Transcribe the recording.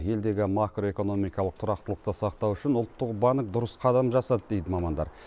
елдегі макроэкономикалық тұрақтылықты сақтау үшін ұлттық банк дұрыс қадам жасады дейді мамандар